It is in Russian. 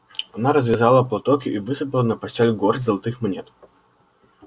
она развязала платок и высыпала на постель горсть золотых монет